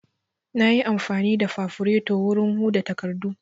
Na yi amfani da fafureto wurin huda takardu